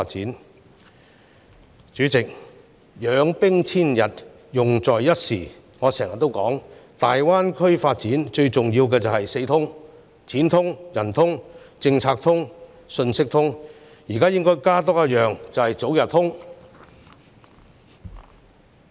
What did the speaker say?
代理主席，"養兵千日，用在一朝"，我經常說大灣區發展最重要的是"四通"，錢"通"、人"通"、政策"通"和信息"通"，現在多加一項，便是早日"通"關。